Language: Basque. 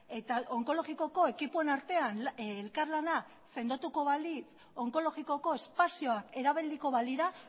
eta onkologikoko ekipoen artean elkarlana sendotuko balitz onkologikoko espazioak erabiliko balira